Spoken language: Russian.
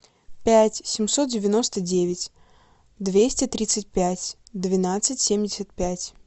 пять семьсот девяносто девять двести тридцать пять двенадцать семьдесят пять